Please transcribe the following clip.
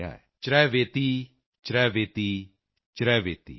ਚਰੈਵੇਤਿ ਚਰੈਵੇਤਿ ਚਰੈਵੇਤਿ